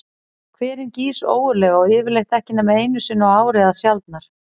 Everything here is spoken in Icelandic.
Hverinn gýs óreglulega og yfirleitt ekki nema einu sinni á ári eða sjaldnar.